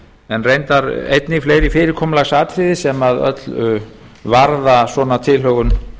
en reyndar einnig fleiri fyrirkomulagsatriði sem öll varða svona tilhögun